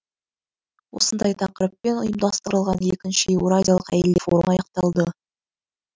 осындай тақырыппен ұйымдастырылған екінші еуразиялық әйелдер форумы аяқталды